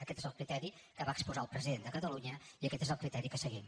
aquest és el criteri que va exposar el president de catalunya i aquest és el criteri que seguim